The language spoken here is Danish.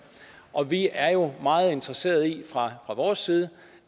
og vi er jo meget interesseret i fra vores side